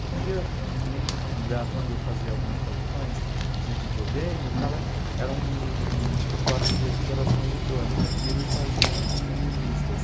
Um dia, num lugar para onde eu fazia algumas traduções de videogame, o cara era um escritório de editoração eletrônica e eles faziam algumas revistas.